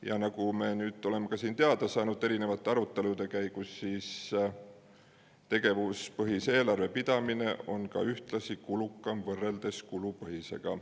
Ja nagu me nüüd siin erinevate arutelude käigus oleme teada saanud, on tegevuspõhise eelarve pidamine ühtlasi kulukam, kui võrrelda kulupõhisega.